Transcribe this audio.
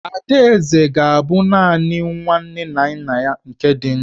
Adaeze ga-abụ naanị nwa nne na nna ya ka dị ndụ.